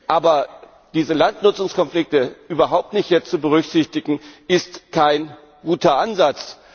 Aber diese Landnutzungskonflikte jetzt überhaupt nicht zu berücksichtigen, ist kein guter Ansatz.